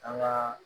An ka